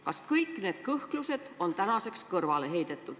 Kas kõik need kõhklused on tänaseks kõrvale heidetud?